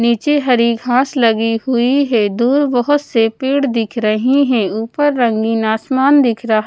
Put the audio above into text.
नीचे हरी घास लगी हुई है। दूर बहोत से पेड़ दिख रही है। ऊपर रंगीन आसमान दिख रहा--